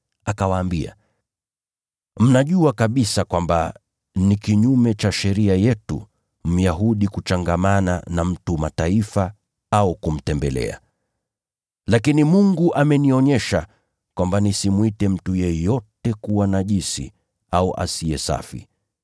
Akawaambia, “Mnajua kabisa kwamba ni kinyume cha sheria yetu Myahudi kuchangamana na mtu wa Mataifa au kumtembelea. Lakini Mungu amenionyesha kwamba nisimwite mtu yeyote kuwa najisi au asiye safi.